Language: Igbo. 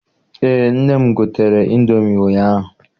Eé, nne m gotere ịndomi ụnyaahụ.